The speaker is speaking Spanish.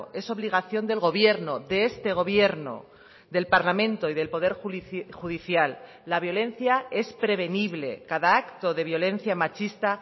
es obligación del gobierno de este gobierno del parlamento y del poder judicial la violencia es prevenible cada acto de violencia machista